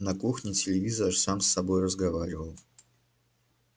на кухне телевизор сам с собой разговаривал